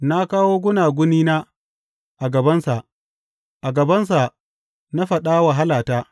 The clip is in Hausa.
Na kawo gunagunina a gabansa; a gabansa na faɗa wahalata.